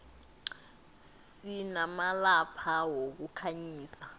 sinamalampa wokukhanyisa